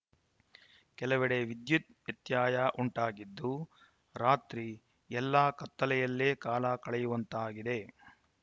ಕೆಲವೆಡೆ ವಿದ್ಯುತ್‌ ವ್ಯತ್ಯಯ ಉಂಟಾಗಿದ್ದು ರಾತ್ರಿ ಎಲ್ಲಾ ಕತ್ತಲೆಯಲ್ಲೇ ಕಾಲ ಕಳೆಯುವಂತಾಗಿದೆ